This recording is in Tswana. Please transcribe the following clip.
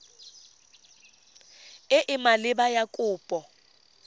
e e maleba ya kopo